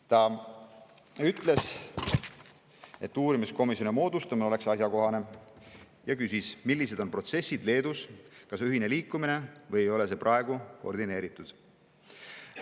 Ta ütles, et uurimiskomisjoni moodustamine oleks asjakohane, ja küsis, millised on protsessid Leedus, kas on ühine liikumine või ei ole see praegu koordineeritud.